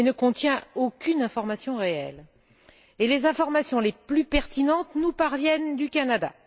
Il ne contient aucune information réelle et les informations les plus pertinentes nous parviennent du Canada.